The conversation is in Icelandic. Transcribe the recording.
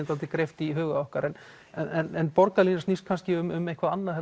svolítið greipt í huga okkar en en borgarlínan snýst kannski um eitthvað annað